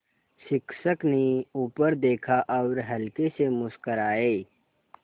शिक्षक ने ऊपर देखा और हल्के से मुस्कराये